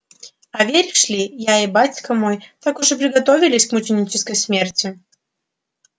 а веришь ли я и батька мой так уж и приготовились к мученической смерти